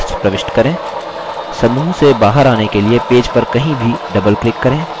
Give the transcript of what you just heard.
समूह से बाहर आने के लिए पेज पर कहीं भी doubleclick करें